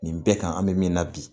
Nin bɛɛ kan an bɛ min na bi